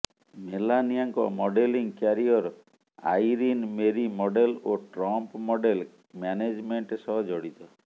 ମେଲାନିଆଙ୍କ modelling career Irene Marie model ଓ Trump model management ସହ ଜଡ଼ିତ